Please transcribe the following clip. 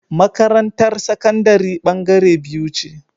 Makarantar sakandari bangare biyu ce